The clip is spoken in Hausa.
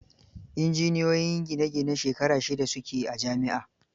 Injiniyoyin gine gine shekara shida su ke a jami'a.